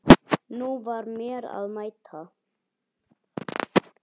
Nú var mér að mæta!